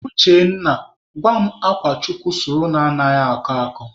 Uchenna, gwa m akwa chukwu sụrụ na anaghị akọ akọ?